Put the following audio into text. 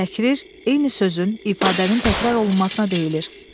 Təkrir eyni sözün, ifadənin təkrar olunmasına deyilir.